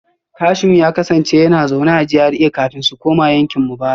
Kashim ya kasance yana zaune a GRA kafin su koma yankin mu bara